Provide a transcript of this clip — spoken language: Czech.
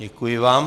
Děkuji vám.